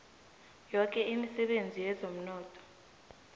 yoke imisebenzi yezomnotho